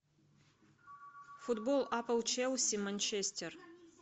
футбол апл челси манчестер